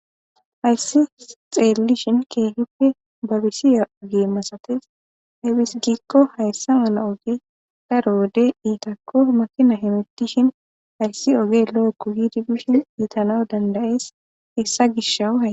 hayssi xeelli shin keehippe babisiya ogee masates hebis gikko hayssa mala oge da roode iitakko makina hemittishin hayssi oge lo7okko hiidi bishen iitana dandayees hessa gishawu ha